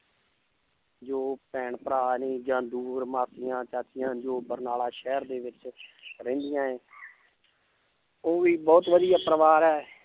ਜੋ ਭੈਣ ਭਰਾ ਨੇ ਜਾਂਂ ਦੂਰ ਮਾਸੀਆਂ ਚਾਚੀਆਂ ਜੋ ਬਰਨਾਲਾ ਸ਼ਹਿਰ ਦੇ ਵਿੱਚ ਰਹਿੰਦੀਆਂ ਹੈ ਉਹ ਵੀ ਬਹੁਤ ਵਧੀਆ ਪਰਿਵਾਰ ਹੈ l